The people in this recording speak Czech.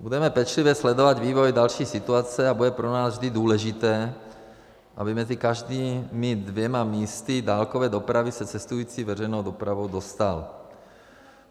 Budeme pečlivě sledovat vývoj další situace a bude pro nás vždy důležité, aby mezi každými dvěma místy dálkové dopravy se cestující veřejnou dopravou dostal.